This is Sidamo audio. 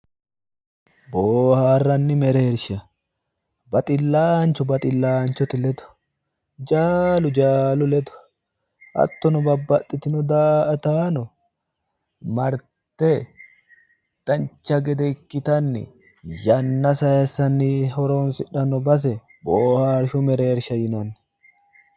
Booharanni mereershi baxilanchu baxilanchote ledo ,jaalu jaalisi ledo hattono babbaxitino daa"attano marrite dancha gede ikkittanni yanna sayisanni horonsidhano base booharishu mereersha yinnanni